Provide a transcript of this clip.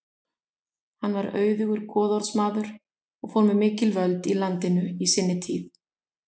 Hann var auðugur goðorðsmaður og fór með mikil völd í landinu í sinni tíð.